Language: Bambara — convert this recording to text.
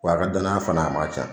Wa a ka danaya fana a man can.